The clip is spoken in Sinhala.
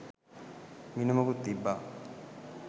මිනුමකුත් තිබ්බා.